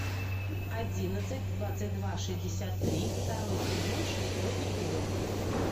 одиннадцать двадцать два шестьдесят три второй сезон шестой эпизод